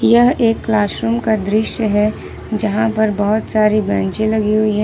यह एक क्लासरूम का दृश्य है जहां पर बहुत सारी बेंचे लगी हुई है।